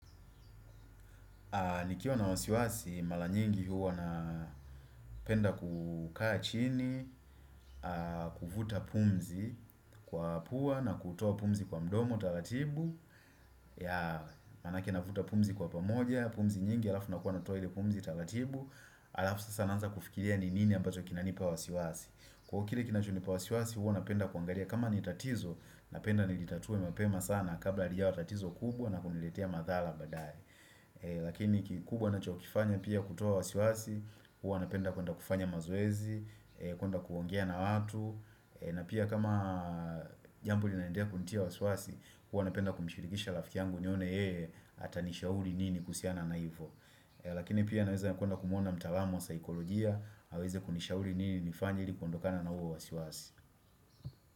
Nikiwa na wasiwasi, mara nyingi huwa napenda kukaa chini, kuvuta pumzi kwa pua na kutoa pumzi kwa mdomo taratibu. Maanake navuta pumzi kwa pamoja, pumzi nyingi alafu nakuwa natoa ile pumzi taratibu. Alafu sasa naananza kufikiria ni nini ambacho kinanipa wasiwasi. Kwa kile kinachonipa wasiwasi, huwa napenda kuangalia, kama ni tatizo, napenda nilitatue mapema sana kabla halijawa tatizo kubwa na kuniletea madhara baadaye. Lakini kikubwa ninachokifanya pia kutoa wasiwasi Huwa napenda kuenda kufanya mazoezi kuenda kuongea na watu na pia kama jambo linaendelea kunitia wasiwasi, huwa napenda kumshirikisha rafiki yangu nione yeye Atanishauri nini kuhusiana na hivyo Lakini pia naweza kuenda kumuona mtaalam wa saikolojia aweze kunishauri nini nifanye ilikuondokana na huo wasiwasi.